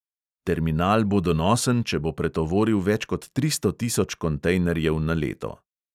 Terminal bo donosen, če bo pretovoril več kot tristo tisoč kontejnerjev na leto.